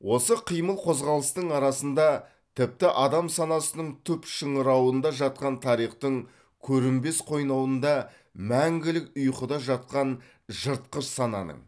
осы қимыл қозғалыстың арасында тіпті адам санасының түп шыңырауында жатқан тарихтың көрінбес қойнауында мәңгілік ұйқыда жатқан жыртқыш сананың